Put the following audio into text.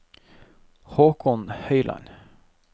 Haakon Høyland